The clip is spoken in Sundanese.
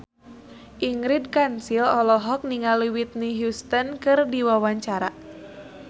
Ingrid Kansil olohok ningali Whitney Houston keur diwawancara